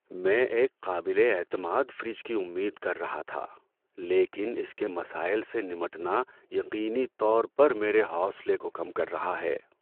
میں ایک قابل اعتماد فریج کی امید کر رہا تھا، لیکن اس کے مسائل سے نمٹنا یقینی طور پر میرے حوصلے کو کم کر رہا ہے۔